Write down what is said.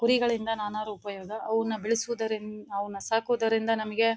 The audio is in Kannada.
ಕುರಿಗಳಿಂದ ನಾನಾ ಉಪಯೋಗ ಅವುನ್ನ ಬೆಳೆಸುವುದರಿನ್ ಅವುನ್ನ ಸಾಕುವುದರಿಂದ ನಮಿಗೆ --